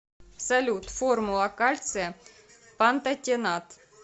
салют формула кальция пантотенат